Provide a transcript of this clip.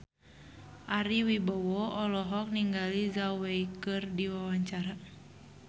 Ari Wibowo olohok ningali Zhao Wei keur diwawancara